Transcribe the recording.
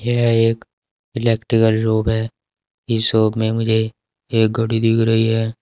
यह एक electrical shop है इस शॉप में मुझे एक घड़ी दिख रही है।